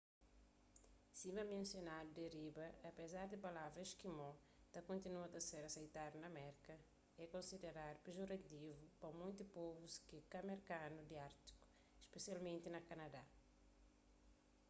sima mensionadu di riba apézar di palavra eskimó ta kontinua ta ser aseitadu na merka é konsiderandu pejorativu pa monti povus ke ka merkanu di ártiku spesialmenti na kanadá